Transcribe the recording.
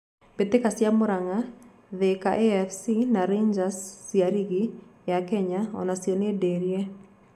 Mbĩtĩka cia Muranga, Thika afc na Rangers cia rigi ya Kenya onacio nĩ ndĩrie.